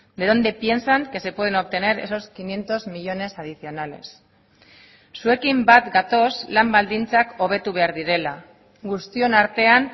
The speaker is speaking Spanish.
de dónde piensan que se pueden obtener esos quinientos millónes adicionales zuekin bat gatoz lan baldintzak hobetu behar direla guztion artean